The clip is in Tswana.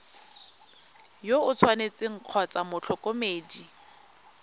yo o tshwanetseng kgotsa motlhokomedi